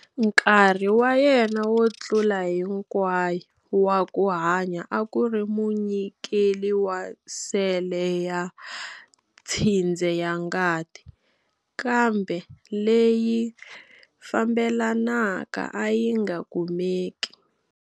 Nkarhi wa yena wo tlula hinkwayo wa ku hanya a ku ri munyikeli wa sele ya tshindze ya ngati, kambe leyi fambelanaka a yi nga kumeki.